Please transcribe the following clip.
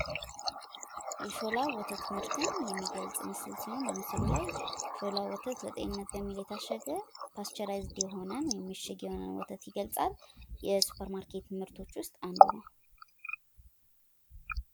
የሾላ ወተት ምርትን የሚገልፅ ምስል ሲሆን በምስሉ ላይ ሾላ ወተት ለጤንነት በሚል የታሸገ ፐስቸራይዝድ የሆነ ወይም እሽግ የሆነ ወተት ይገልፃል። የሱፐርማርኬት ምርቶች ውስጥ አንዱ ነው።